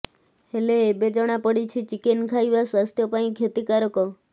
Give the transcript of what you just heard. ହେଲେ ଏବେ ଜଣାପଡ଼ିଛି ଚିକେନ୍ ଖାଇବା ସ୍ୱାସ୍ଥ୍ୟ ପାଇଁ କ୍ଷତିକାରକ